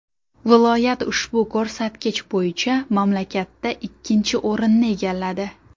Viloyat ushbu ko‘rsatkich bo‘yicha mamlakatda ikkinchi o‘rinni egalladi.